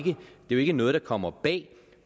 ikke noget der kommer bag